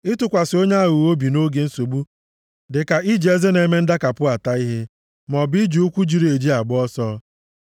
Ịtụkwasị onye aghụghọ obi nʼoge nsogbu dị ka iji eze na-eme ndakapụ ata ihe, maọbụ iji ụkwụ jiri eji agba ọsọ.